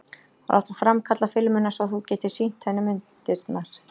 Og láta framkalla filmuna svo að þú getir sýnt henni myndirnar?